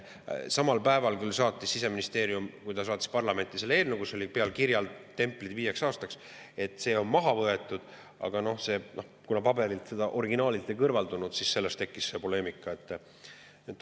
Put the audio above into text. Samal päeval, kui Siseministeerium saatis parlamenti selle eelnõu, kus oli peal tempel "Viieks aastaks", oli küll, et see on maha võetud, aga kuna paberilt, originaalilt seda ei kõrvaldatud, siis tekkis see poleemika.